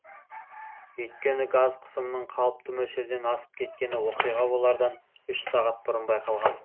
өйткені газ қысымының қалыпты мөлшерден асып кеткені оқиға болардан үш сағат бұрын байқалған